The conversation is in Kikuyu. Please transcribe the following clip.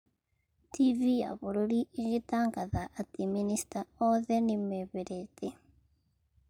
TV ya bũrũri ĩgĩtangatha atĩ minicita othe nĩ meherete.